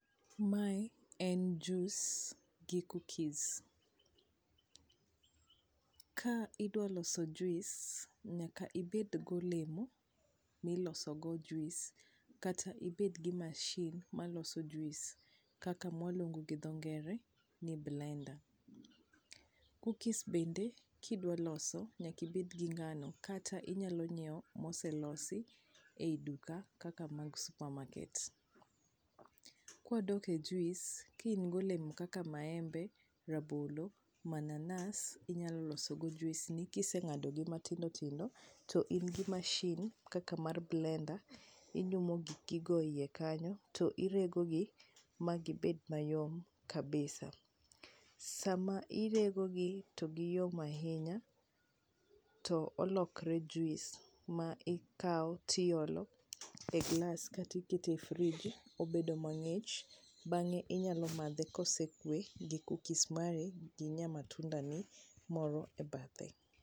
mae en jiuce gi cookies ka idwa loso juice nyaka ibed golemo milos go juice kata ibed gi machine miloso go juice kata mawaluong'o gi dho ngere ni blender, cookies bende kidwa loso nyaka ibed gi ngano kata inyalo ng'iewo moselosi ei duka kaka mag supermarket, kwa dok e juice ka in gi olemo kaka maembe rabolo mananas inyalo loso go juice ni kiseng'ado gi matindo tindo to in gi machine kaka mar blender ,inyumo giki go e iye kanyo to irego gi magi bed mayom kabisa, sama irego gi to giyom ahinya to olokre juice ma ikawo e glass kata iketo e fridge to obedo mang'ich ,bange inyalo madhe kosekue gi cookies mari gi nyama tunda ni moro e bathe